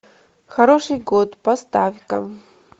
хороший год поставь ка